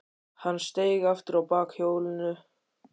Hann steig aftur á bak hjólinu.